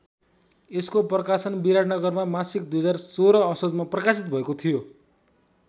यसको प्रकाशन विराटनगरमा मासिक २०१६ असोजमा प्रकाशित भएको थियो।